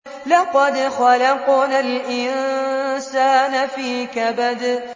لَقَدْ خَلَقْنَا الْإِنسَانَ فِي كَبَدٍ